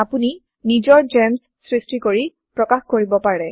আপুনি নিজৰ যেম্চ সৃষ্টি কৰি প্ৰকাশ কৰিব পাৰে